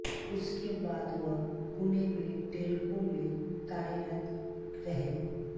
उसके बाद वह पुणे में टेल्को में कार्यरत रहे